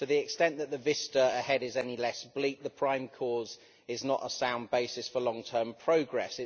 To the extent that the vista ahead is any less bleak, the prime cause is not a sound basis for long term progress